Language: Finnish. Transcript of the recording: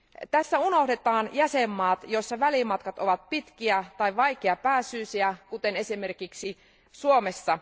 Tässä unohdetaan jäsenvaltiot, joissa välimatkat ovat pitkiä tai vaikeapääsyisiä, kuten esimerkiksi Suomessa.